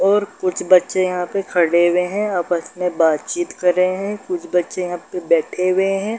और कुछ बच्चे यहाँ पे खड़े हुए हैं। आपस में बातचित कर रहें हैं। कुछ बच्चे यहाँ पे बैठे हुए हैं।